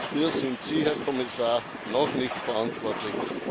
Dafür sind Sie, Herr Kommissar, noch nicht verantwortlich.